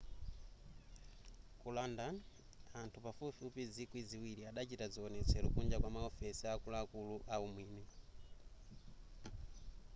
ku london anthu pafupifupi zikwi ziwiri adachita zionetsero kunja kwa maofesi a akuluakulu a umwini